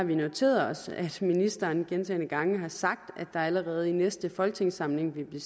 vi noteret os at ministeren gentagne gange har sagt at der allerede i næste folketingssamling vil blive